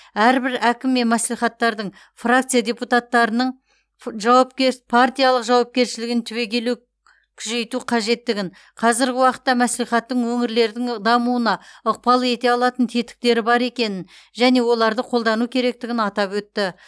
әрбір әкім мен мәслихаттардың фракция депутаттарының жауапкершілігін түбегелі күшейту қажеттігін қазіргі уақытта мәслихаттың өңірлердің дамуына ықпал ете алатын тетіктері бар екенін және оларды қолдану керектігін атап өтті